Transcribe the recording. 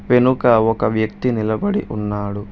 వెనుక ఒక వ్యక్తి నిలబడి ఉన్నాడు.